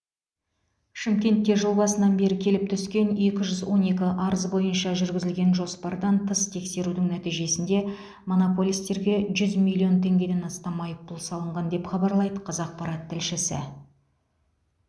шымкентте жыл басынан бері келіп түскен екі жүз он екі арыз бойынша жүргізілген жоспардан тыс тексерудің нәтижесінде монополистерге жүз миллион теңгеден астам айыппұл салынған деп хабарлайды қазақпарат тілшісі